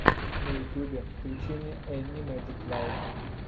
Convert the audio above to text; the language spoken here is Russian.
на ютьюбе включи мне энни мэджик лайв